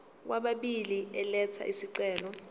kwababili elatha isicelo